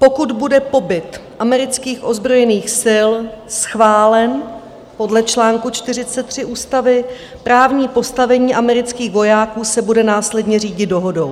Pokud bude pobyt amerických ozbrojených sil schválen podle článku 43 ústavy, právní postavení amerických vojáků se bude následně řídit dohodou.